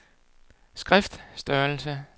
skriftstørrelse